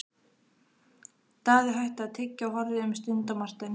Daði hætti að tyggja og horfði um stund á Martein.